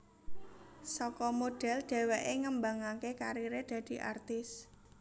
Saka model dheweké ngembangaké kariré dadi artis